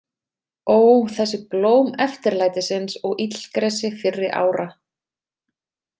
Ó, þessi blóm eftirlætisins og illgresi fyrri ára.